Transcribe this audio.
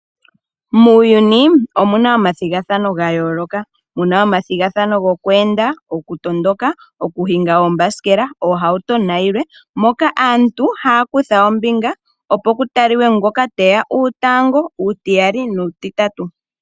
Muuyuni, omu na omathigathano ga yooloka. Mu na omathigathano gokweenda, gokutondoka, gokuhinga oombasikela, oohauto nayilwe, moka aantu haya kutha ombinga, opo ku talike ngoka ta thiki uutango, uutiyali nuutitatu.